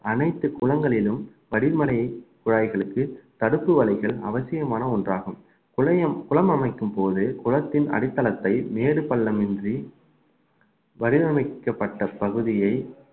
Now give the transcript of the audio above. அனைத்து குளங்களிலும் படிமனை குழாய்களுக்கு தடுப்பு வலைகள் அவசியமான ஒன்றாகும் குறையும் குளம் அமைக்கும்போது குளத்தின் அடித்தளத்தை மேடு பள்ளம் இன்றி வடிவமைக்கப்பட்ட பகுதியை